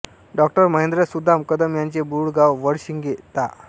डाॅ महेंद्र सुदाम कदम यांचे मूळ गाव वडशिंगे ता